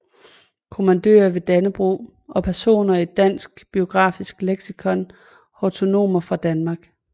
Kommandører af Dannebrog Personer i Dansk Biografisk Leksikon Hortonomer fra Danmark